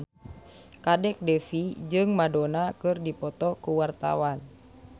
Kadek Devi jeung Madonna keur dipoto ku wartawan